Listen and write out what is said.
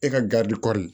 E ka garidi kɔɔri